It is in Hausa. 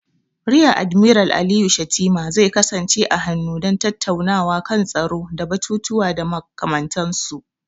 Riya Admiral Aliyu Shettima zai kasance a hannu don tattaunawa kan tsaro da batutuwa da makamantansu.